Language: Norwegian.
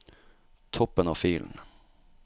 Toppen av filen